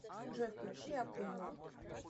джой включи акуило